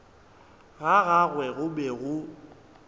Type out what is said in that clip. ga gagwe go be go